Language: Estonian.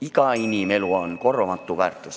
Iga inimelu on korvamatu väärtus.